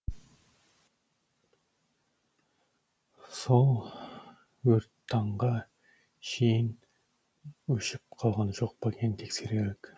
сол өрттаңға шейін өшіп қалған жоқ па екен тексерелік